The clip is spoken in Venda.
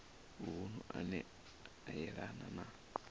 vunu ane a yelana na